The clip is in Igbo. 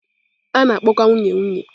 A na-akpọkwa nwunye nwunye.